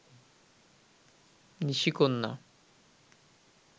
নিশিকন্যা